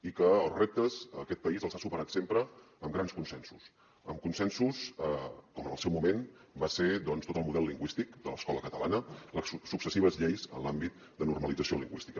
i els reptes aquest país els ha superat sempre amb grans consensos amb consensos com en el seu moment va ser doncs tot el model lingüístic de l’escola catalana les successives lleis en l’àmbit de normalització lingüística